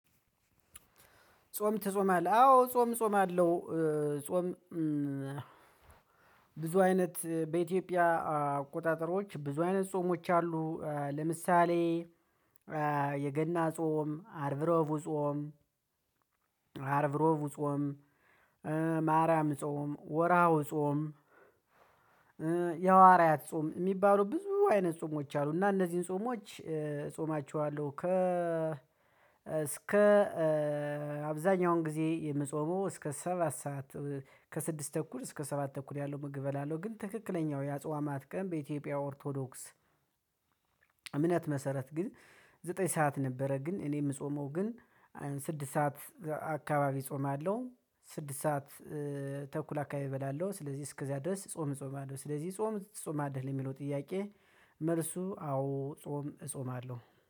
ጾም ትጾማለህ አዎ ጾም ጾም አለው ጾም። ብዙ አይነት በኢትዮጵያ አቆጣጠሮች ብዙ አይነት ጾሞች አሉ። ለምሳሌ የገና ጾም አርብሮቡ ጾም። አርብሮቡ ጾም። ማርያም ጾም ወራው ጾም። የሐዋርያት ጾም የሚባሉ ብዙ አይነት ጾሞች አሉ። እና እነዚህን ጾሞች ጾማቸዋለሁ። ከ እስከ አብዛኛውን ጊዜ የምጾመው እስከ ሰባት ሰዓት። ከስድስት ተኩል እስከ ሰባት ተኩል ያለው ምግብ እበላለሁ። ግን ትክክለኛው የአጽዋ ማትቀን በኢትዮጵያ ኦርቶዶክስ። እምነት መሰረት ግን ዘጠኝ ሰዓት ነበረ። ግን እኔ የምጾመው ግን ስድስት ሰዓት አካባቢ ጾም አለው። ስድስት ሰዓት ተኩል አካባቢ እበላለሁ። ስለዚህ እስከዚያ ድረስ ጾም ጾም አለው። ስለዚህ ጾም ትጾማለህ ለሚለው ጥያቄ። መልሱ አዎ ጾም እጾማለሁ።